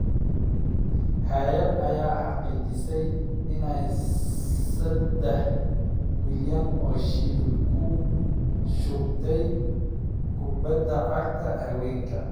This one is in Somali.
Hay’ad ayaa xaqiijisay inay saddex milyan oo shilin ku shubtay kubbadda cagta haweenka.